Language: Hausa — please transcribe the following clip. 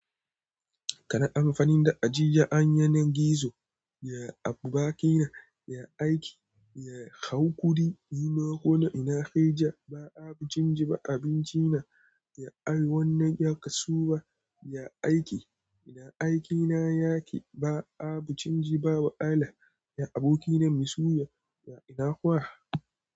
Kana amfanin da ajiya an yanan gizo, ya abokina, ya aiki, ya hau kuri. Ni ma ko na, ina kai ja, ba abincin ji ba abinci na, ya ari wannan ya kasuwa, ya aiki. Ina aiki na yake ba abincin ji ba wahala, ya abokina mai suya, ya ina kowa.